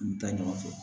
N bɛ taa ɲɔgɔn fɛ